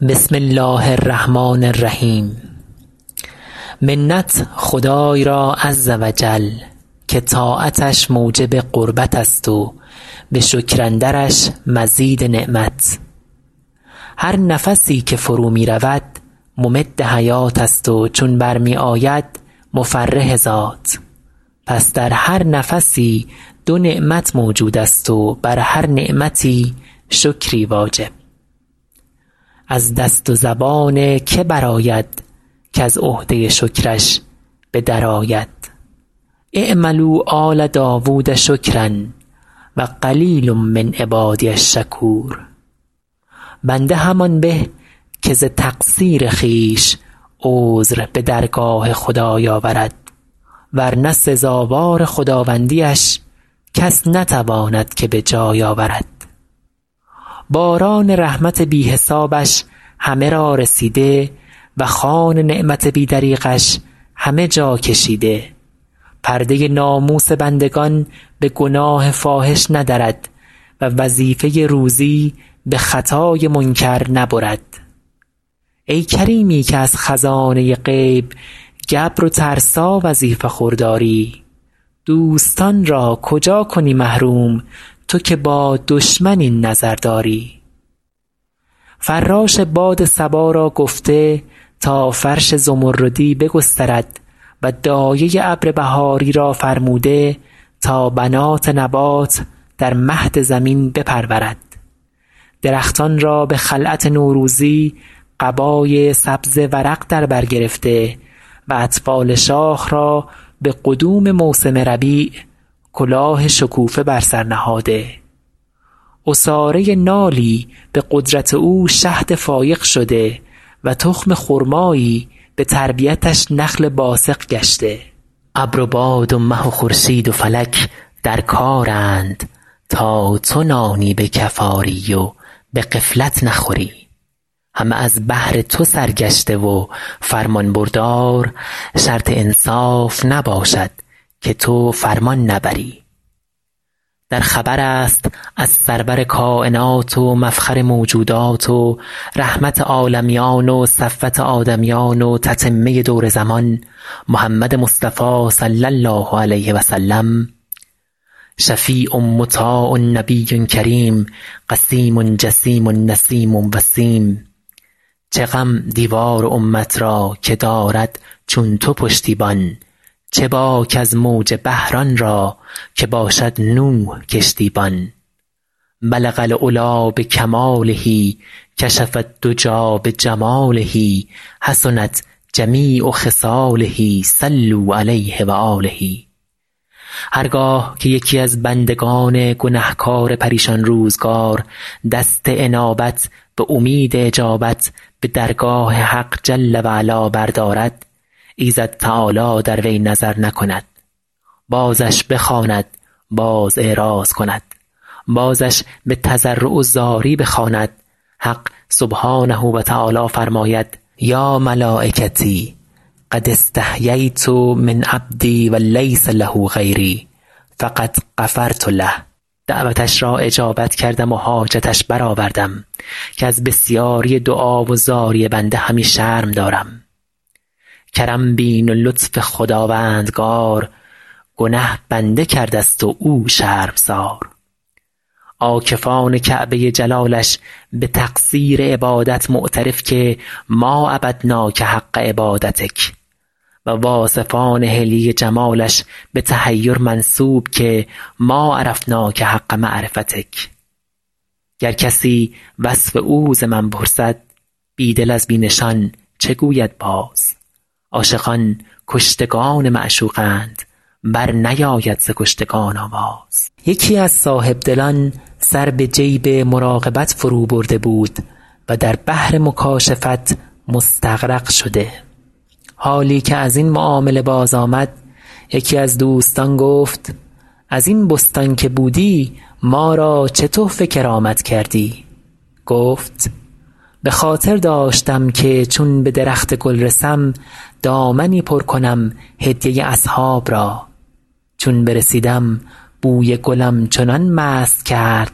بسم الله الرحمن الرحیم منت خدای را عز و جل که طاعتش موجب قربت است و به شکر اندرش مزید نعمت هر نفسی که فرو می رود ممد حیات است و چون بر می آید مفرح ذات پس در هر نفسی دو نعمت موجود است و بر هر نعمتی شکری واجب از دست و زبان که برآید کز عهده شکرش به در آید اعملوا آل داود شکرا و قلیل من عبادی الشکور بنده همان به که ز تقصیر خویش عذر به درگاه خدای آورد ور نه سزاوار خداوندی اش کس نتواند که به جای آورد باران رحمت بی حسابش همه را رسیده و خوان نعمت بی دریغش همه جا کشیده پرده ناموس بندگان به گناه فاحش ندرد و وظیفه روزی به خطای منکر نبرد ای کریمی که از خزانه غیب گبر و ترسا وظیفه خور داری دوستان را کجا کنی محروم تو که با دشمن این نظر داری فراش باد صبا را گفته تا فرش زمردی بگسترد و دایه ابر بهاری را فرموده تا بنات نبات در مهد زمین بپرورد درختان را به خلعت نوروزی قبای سبز ورق در بر گرفته و اطفال شاخ را به قدوم موسم ربیع کلاه شکوفه بر سر نهاده عصاره نالی به قدرت او شهد فایق شده و تخم خرمایی به تربیتش نخل باسق گشته ابر و باد و مه و خورشید و فلک در کارند تا تو نانی به کف آری و به غفلت نخوری همه از بهر تو سرگشته و فرمانبردار شرط انصاف نباشد که تو فرمان نبری در خبر است از سرور کاینات و مفخر موجودات و رحمت عالمیان و صفوت آدمیان و تتمه دور زمان محمد مصطفی صلی الله علیه و سلم شفیع مطاع نبی کریم قسیم جسیم نسیم وسیم چه غم دیوار امت را که دارد چون تو پشتیبان چه باک از موج بحر آن را که باشد نوح کشتی بان بلغ العلیٰ بکماله کشف الدجیٰ بجماله حسنت جمیع خصاله صلوا علیه و آله هر گاه که یکی از بندگان گنهکار پریشان روزگار دست انابت به امید اجابت به درگاه حق جل و علا بردارد ایزد تعالی در وی نظر نکند بازش بخواند باز اعراض کند بازش به تضرع و زاری بخواند حق سبحانه و تعالی فرماید یا ملایکتی قد استحییت من عبدی و لیس له غیری فقد غفرت له دعوتش را اجابت کردم و حاجتش برآوردم که از بسیاری دعا و زاری بنده همی شرم دارم کرم بین و لطف خداوندگار گنه بنده کرده ست و او شرمسار عاکفان کعبه جلالش به تقصیر عبادت معترف که ما عبدناک حق عبادتک و واصفان حلیه جمالش به تحیر منسوب که ما عرفناک حق معرفتک گر کسی وصف او ز من پرسد بی دل از بی نشان چه گوید باز عاشقان کشتگان معشوقند بر نیاید ز کشتگان آواز یکی از صاحبدلان سر به جیب مراقبت فرو برده بود و در بحر مکاشفت مستغرق شده حالی که از این معامله باز آمد یکی از دوستان گفت از این بستان که بودی ما را چه تحفه کرامت کردی گفت به خاطر داشتم که چون به درخت گل رسم دامنی پر کنم هدیه اصحاب را چون برسیدم بوی گلم چنان مست کرد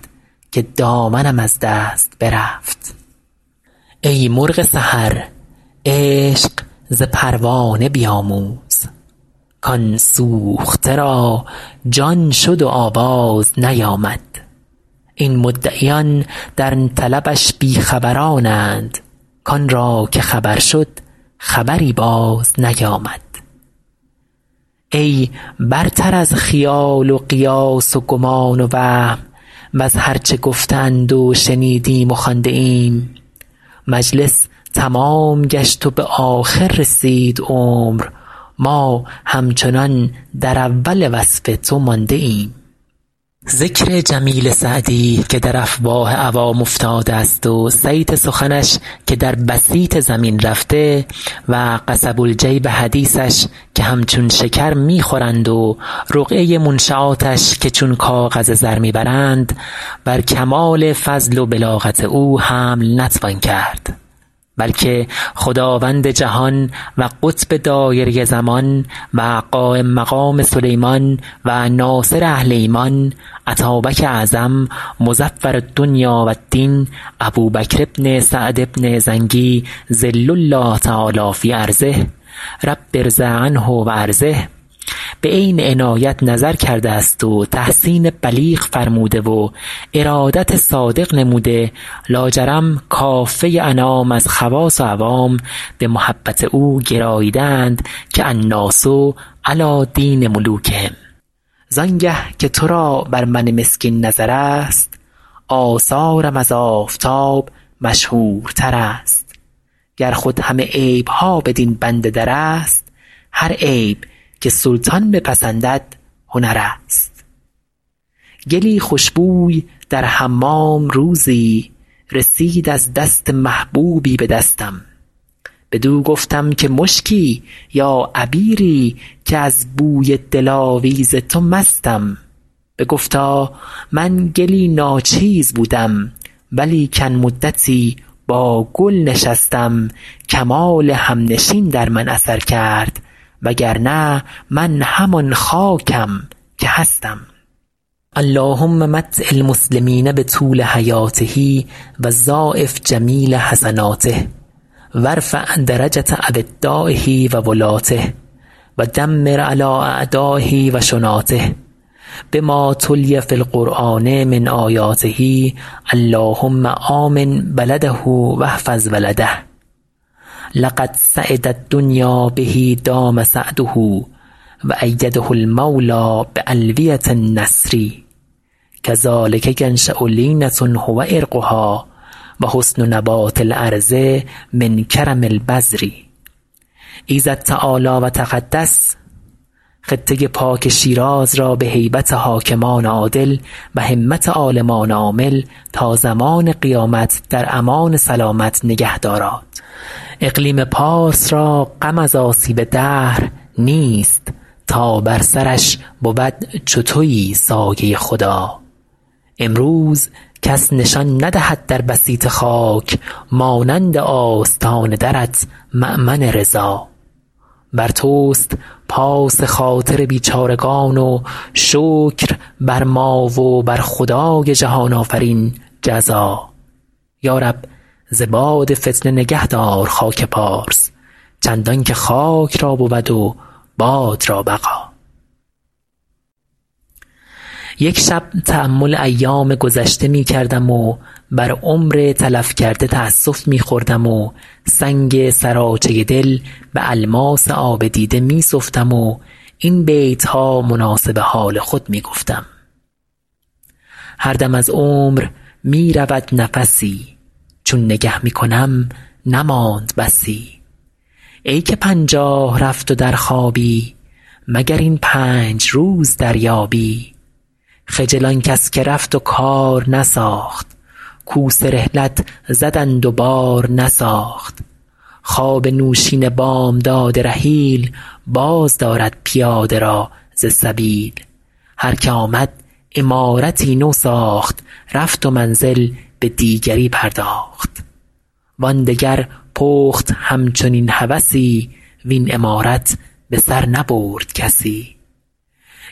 که دامنم از دست برفت ای مرغ سحر عشق ز پروانه بیاموز کآن سوخته را جان شد و آواز نیامد این مدعیان در طلبش بی خبرانند کآن را که خبر شد خبری باز نیامد ای برتر از خیال و قیاس و گمان و وهم وز هر چه گفته اند و شنیدیم و خوانده ایم مجلس تمام گشت و به آخر رسید عمر ما همچنان در اول وصف تو مانده ایم ذکر جمیل سعدی که در افواه عوام افتاده است و صیت سخنش که در بسیط زمین رفته و قصب الجیب حدیثش که همچون شکر می خورند و رقعه منشیاتش که چون کاغذ زر می برند بر کمال فضل و بلاغت او حمل نتوان کرد بلکه خداوند جهان و قطب دایره زمان و قایم مقام سلیمان و ناصر اهل ایمان اتابک اعظم مظفر الدنیا و الدین ابوبکر بن سعد بن زنگی ظل الله تعالیٰ في أرضه رب ارض عنه و أرضه به عین عنایت نظر کرده است و تحسین بلیغ فرموده و ارادت صادق نموده لاجرم کافه انام از خواص و عوام به محبت او گراییده اند که الناس علیٰ دین ملوکهم زآن گه که تو را بر من مسکین نظر است آثارم از آفتاب مشهورتر است گر خود همه عیب ها بدین بنده در است هر عیب که سلطان بپسندد هنر است گلی خوش بوی در حمام روزی رسید از دست محبوبی به دستم بدو گفتم که مشکی یا عبیری که از بوی دلاویز تو مستم بگفتا من گلی ناچیز بودم و لیکن مدتی با گل نشستم کمال همنشین در من اثر کرد وگرنه من همان خاکم که هستم اللهم متع المسلمین بطول حیاته و ضاعف جمیل حسناته و ارفع درجة أودایه و ولاته و دمر علیٰ أعدایه و شناته بما تلي في القرآن من آیاته اللهم آمن بلده و احفظ ولده لقد سعد الدنیا به دام سعده و أیده المولیٰ بألویة النصر کذلک ینشأ لینة هو عرقها و حسن نبات الأرض من کرم البذر ایزد تعالی و تقدس خطه پاک شیراز را به هیبت حاکمان عادل و همت عالمان عامل تا زمان قیامت در امان سلامت نگه داراد اقلیم پارس را غم از آسیب دهر نیست تا بر سرش بود چو تویی سایه خدا امروز کس نشان ندهد در بسیط خاک مانند آستان درت مأمن رضا بر توست پاس خاطر بیچارگان و شکر بر ما و بر خدای جهان آفرین جزا یا رب ز باد فتنه نگهدار خاک پارس چندان که خاک را بود و باد را بقا یک شب تأمل ایام گذشته می کردم و بر عمر تلف کرده تأسف می خوردم و سنگ سراچه دل به الماس آب دیده می سفتم و این بیت ها مناسب حال خود می گفتم هر دم از عمر می رود نفسی چون نگه می کنم نمانده بسی ای که پنجاه رفت و در خوابی مگر این پنج روز دریابی خجل آن کس که رفت و کار نساخت کوس رحلت زدند و بار نساخت خواب نوشین بامداد رحیل باز دارد پیاده را ز سبیل هر که آمد عمارتی نو ساخت رفت و منزل به دیگری پرداخت وآن دگر پخت همچنین هوسی وین عمارت به سر نبرد کسی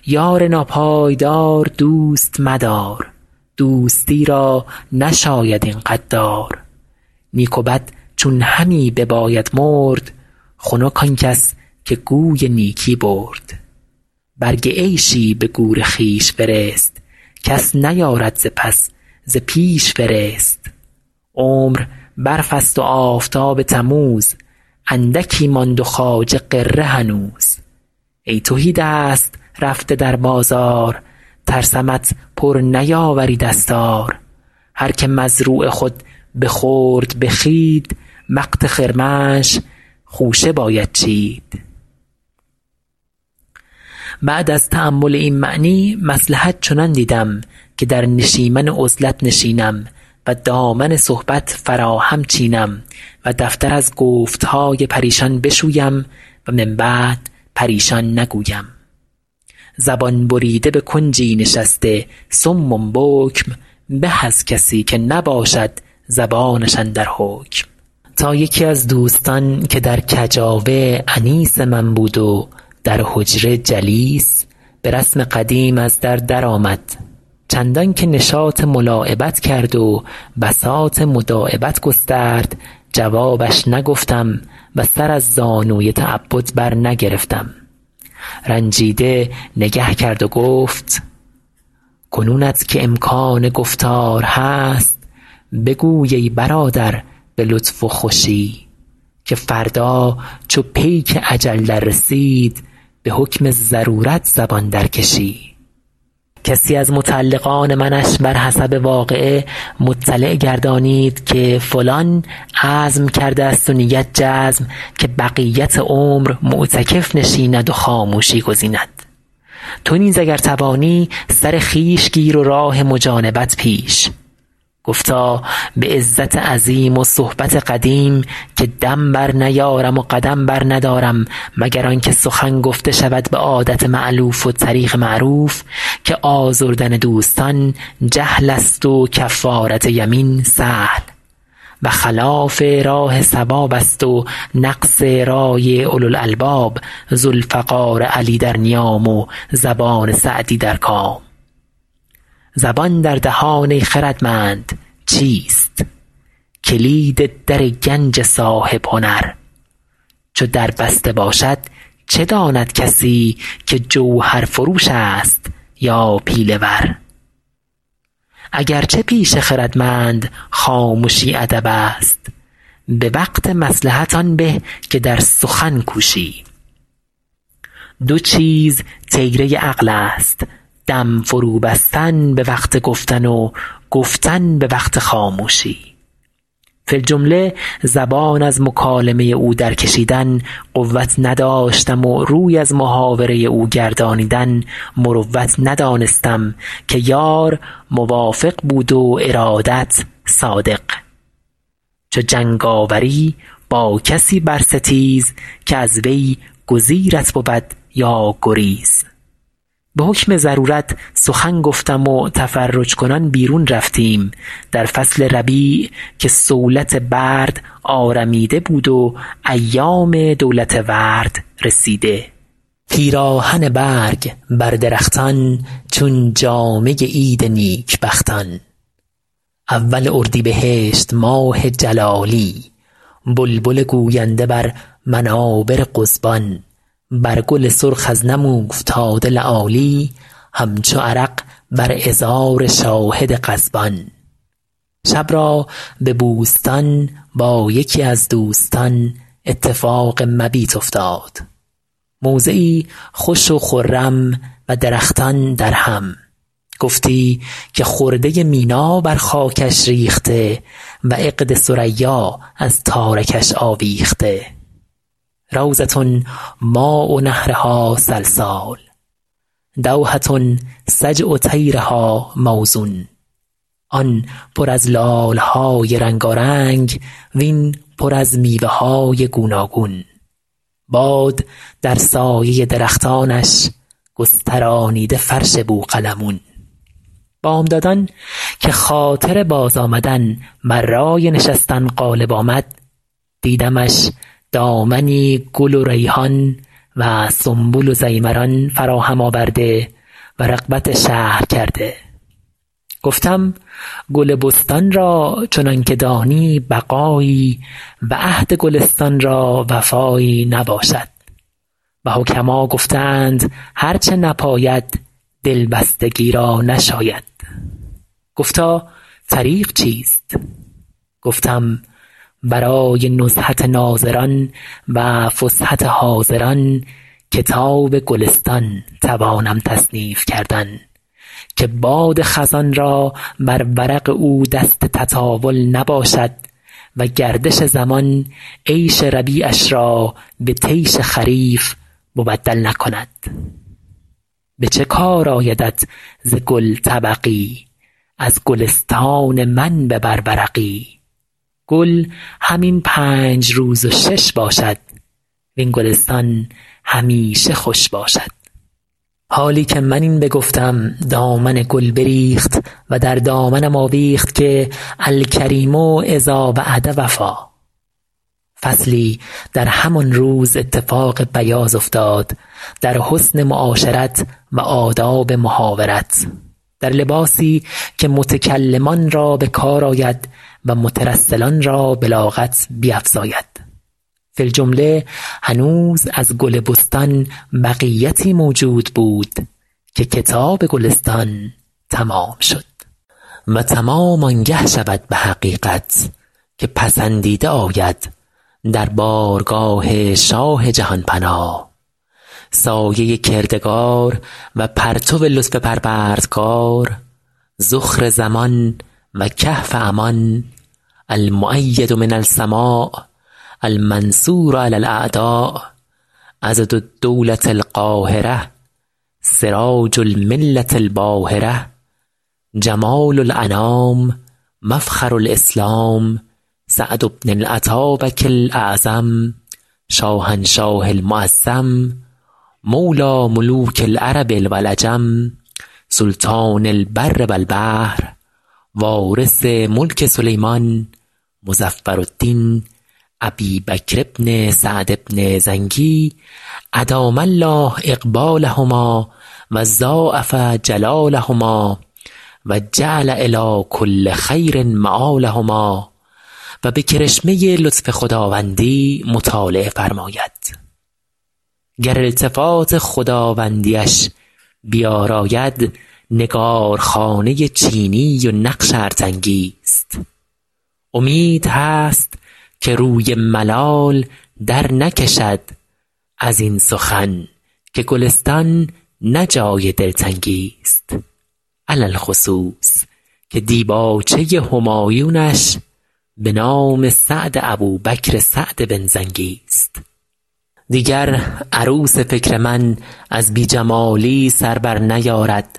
یار ناپایدار دوست مدار دوستی را نشاید این غدار نیک و بد چون همی بباید مرد خنک آن کس که گوی نیکی برد برگ عیشی به گور خویش فرست کس نیارد ز پس ز پیش فرست عمر برف است و آفتاب تموز اندکی ماند و خواجه غره هنوز ای تهی دست رفته در بازار ترسمت پر نیاوری دستار هر که مزروع خود بخورد به خوید وقت خرمنش خوشه باید چید بعد از تأمل این معنی مصلحت چنان دیدم که در نشیمن عزلت نشینم و دامن صحبت فراهم چینم و دفتر از گفت های پریشان بشویم و من بعد پریشان نگویم زبان بریده به کنجی نشسته صم بکم به از کسی که نباشد زبانش اندر حکم تا یکی از دوستان که در کجاوه انیس من بود و در حجره جلیس به رسم قدیم از در در آمد چندان که نشاط ملاعبت کرد و بساط مداعبت گسترد جوابش نگفتم و سر از زانوی تعبد بر نگرفتم رنجیده نگه کرد و گفت کنونت که امکان گفتار هست بگو ای برادر به لطف و خوشی که فردا چو پیک اجل در رسید به حکم ضرورت زبان در کشی کسی از متعلقان منش بر حسب واقعه مطلع گردانید که فلان عزم کرده است و نیت جزم که بقیت عمر معتکف نشیند و خاموشی گزیند تو نیز اگر توانی سر خویش گیر و راه مجانبت پیش گفتا به عزت عظیم و صحبت قدیم که دم بر نیارم و قدم بر ندارم مگر آن گه که سخن گفته شود به عادت مألوف و طریق معروف که آزردن دوستان جهل است و کفارت یمین سهل و خلاف راه صواب است و نقص رای اولوالالباب ذوالفقار علی در نیام و زبان سعدی در کام زبان در دهان ای خردمند چیست کلید در گنج صاحب هنر چو در بسته باشد چه داند کسی که جوهرفروش است یا پیله ور اگر چه پیش خردمند خامشی ادب است به وقت مصلحت آن به که در سخن کوشی دو چیز طیره عقل است دم فرو بستن به وقت گفتن و گفتن به وقت خاموشی فی الجمله زبان از مکالمه او در کشیدن قوت نداشتم و روی از محاوره او گردانیدن مروت ندانستم که یار موافق بود و ارادت صادق چو جنگ آوری با کسی بر ستیز که از وی گزیرت بود یا گریز به حکم ضرورت سخن گفتم و تفرج کنان بیرون رفتیم در فصل ربیع که صولت برد آرمیده بود و ایام دولت ورد رسیده پیراهن برگ بر درختان چون جامه عید نیک بختان اول اردیبهشت ماه جلالی بلبل گوینده بر منابر قضبان بر گل سرخ از نم اوفتاده لآلی همچو عرق بر عذار شاهد غضبان شب را به بوستان با یکی از دوستان اتفاق مبیت افتاد موضعی خوش و خرم و درختان درهم گفتی که خرده مینا بر خاکش ریخته و عقد ثریا از تارکش آویخته روضة ماء نهرها سلسال دوحة سجع طیرها موزون آن پر از لاله های رنگارنگ وین پر از میوه های گوناگون باد در سایه درختانش گسترانیده فرش بوقلمون بامدادان که خاطر باز آمدن بر رای نشستن غالب آمد دیدمش دامنی گل و ریحان و سنبل و ضیمران فراهم آورده و رغبت شهر کرده گفتم گل بستان را چنان که دانی بقایی و عهد گلستان را وفایی نباشد و حکما گفته اند هر چه نپاید دلبستگی را نشاید گفتا طریق چیست گفتم برای نزهت ناظران و فسحت حاضران کتاب گلستان توانم تصنیف کردن که باد خزان را بر ورق او دست تطاول نباشد و گردش زمان عیش ربیعش را به طیش خریف مبدل نکند به چه کار آیدت ز گل طبقی از گلستان من ببر ورقی گل همین پنج روز و شش باشد وین گلستان همیشه خوش باشد حالی که من این بگفتم دامن گل بریخت و در دامنم آویخت که الکریم إذا وعد وفا فصلی در همان روز اتفاق بیاض افتاد در حسن معاشرت و آداب محاورت در لباسی که متکلمان را به کار آید و مترسلان را بلاغت بیفزاید فی الجمله هنوز از گل بستان بقیتی موجود بود که کتاب گلستان تمام شد و تمام آن گه شود به حقیقت که پسندیده آید در بارگاه شاه جهان پناه سایه کردگار و پرتو لطف پروردگار ذخر زمان و کهف امان المؤید من السماء المنصور علی الأعداء عضد الدولة القاهرة سراج الملة الباهرة جمال الأنام مفخر الإسلام سعد بن الاتابک الاعظم شاهنشاه المعظم مولیٰ ملوک العرب و العجم سلطان البر و البحر وارث ملک سلیمان مظفرالدین أبی بکر بن سعد بن زنگی أدام الله إقبالهما و ضاعف جلالهما و جعل إلیٰ کل خیر مآلهما و به کرشمه لطف خداوندی مطالعه فرماید گر التفات خداوندی اش بیاراید نگارخانه چینی و نقش ارتنگی ست امید هست که روی ملال در نکشد از این سخن که گلستان نه جای دلتنگی ست علی الخصوص که دیباچه همایونش به نام سعد ابوبکر سعد بن زنگی ست دیگر عروس فکر من از بی جمالی سر بر نیارد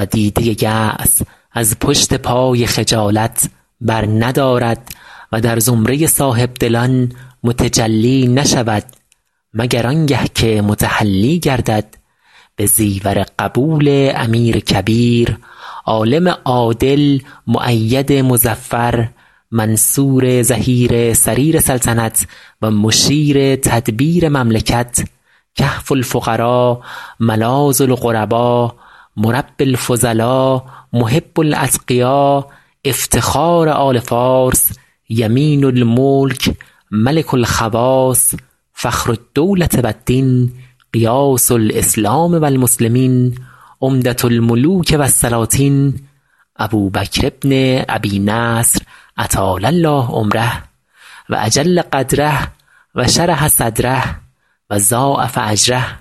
و دیده یأس از پشت پای خجالت بر ندارد و در زمره صاحب دلان متجلی نشود مگر آن گه که متحلی گردد به زیور قبول امیر کبیر عالم عادل مؤید مظفر منصور ظهیر سریر سلطنت و مشیر تدبیر مملکت کهف الفقرا ملاذ الغربا مربی الفضلا محب الأتقیا افتخار آل فارس یمین الملک ملک الخواص فخر الدولة و الدین غیاث الإسلام و المسلمین عمدة الملوک و السلاطین ابوبکر بن أبي نصر أطال الله عمره و أجل قدره و شرح صدره و ضاعف أجره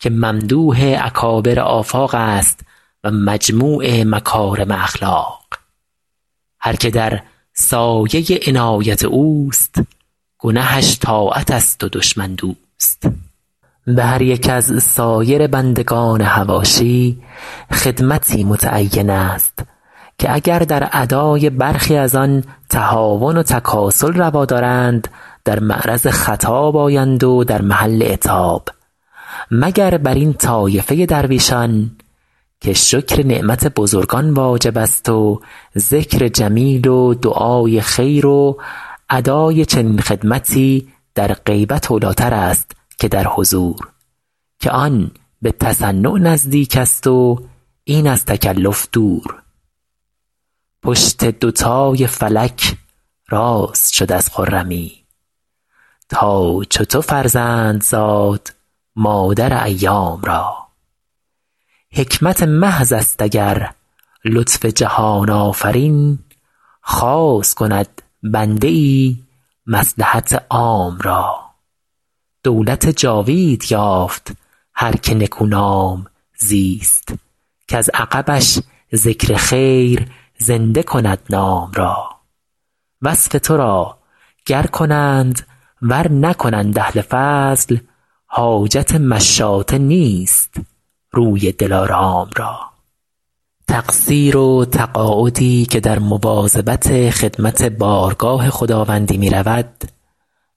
که ممدوح اکابر آفاق است و مجموع مکارم اخلاق هر که در سایه عنایت اوست گنهش طاعت است و دشمن دوست به هر یک از سایر بندگان حواشی خدمتی متعین است که اگر در ادای برخی از آن تهاون و تکاسل روا دارند در معرض خطاب آیند و در محل عتاب مگر بر این طایفه درویشان که شکر نعمت بزرگان واجب است و ذکر جمیل و دعای خیر و اداء چنین خدمتی در غیبت اولی ٰتر است که در حضور که آن به تصنع نزدیک است و این از تکلف دور پشت دوتای فلک راست شد از خرمی تا چو تو فرزند زاد مادر ایام را حکمت محض است اگر لطف جهان آفرین خاص کند بنده ای مصلحت عام را دولت جاوید یافت هر که نکونام زیست کز عقبش ذکر خیر زنده کند نام را وصف تو را گر کنند ور نکنند اهل فضل حاجت مشاطه نیست روی دلارام را تقصیر و تقاعدی که در مواظبت خدمت بارگاه خداوندی می رود